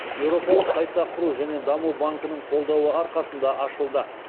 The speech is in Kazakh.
еуропалық қайта құру және даму банкінің қолдауы арқасында ашылды